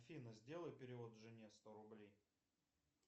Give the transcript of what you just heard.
афина сделай перевод жене сто рублей